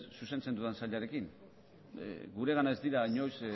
zuzentzen dudan sailarekin guregana ez dira inoiz